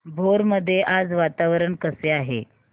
भोर मध्ये आज वातावरण कसे आहे